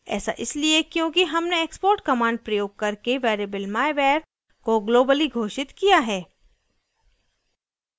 ऐसा इसलिए क्योंकि हमने export command प्रयोग करके variable myvar को globally घोषित किया है